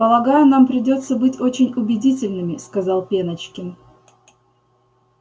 полагаю нам придётся быть очень убедительными сказал пеночкин